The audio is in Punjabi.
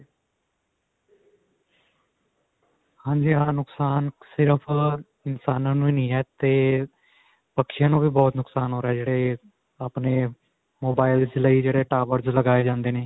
ਹਾਂਜੀ, ਹਾਂ. ਨੁਕਸਾਨ ਸਿਰਫ ਅਅ ਇਨਸਾਨਾਂ ਨੂੰ ਹੀ ਨਹੀ ਹੈ ਤੇ ਪਕਸ਼ਿਆ ਨੂੰ ਵੀ ਬਹੁਤ ਜਿਆਦਾ ਨੁਕਸਾਨ ਹੋ ਰਿਹਾ, ਜਿਹੜੇ ਆਪਣੇ mobiles ਲਈ ਜਿਹੜੇ towers ਲਗਾਏ ਜਾਂਦੇ ਨੇ.